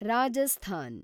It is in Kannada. ರಾಜಸ್ಥಾನ